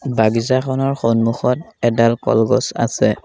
বাগিচাখনৰ সন্মুখত এডাল কলগছ আছে।